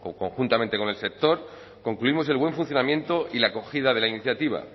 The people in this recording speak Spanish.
conjuntamente con el sector concluimos el buen funcionamiento y la acogida de la iniciativa